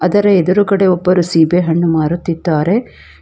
ಇದರ ಎದುರುಗಡೆ ಒಬ್ಬರು ಸೇಬೆ ಹಣ್ಣು ಮಾರುತ್ತಿದ್ದಾರೆ.